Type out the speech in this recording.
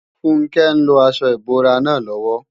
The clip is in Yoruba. Funke ń lo aṣọ ìbora náà lọ́wọ́